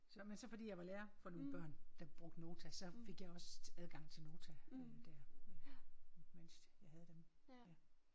Så men så fordi jeg var lærer for nogle børn der brugte Nota så fik jeg også adgang til Nota øh der øh mens jeg havde dem